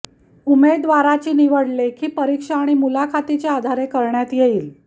उमेदवाराची निवड लेखी परिक्षा आणि मुलाखतीच्या आधारे करण्यात येईल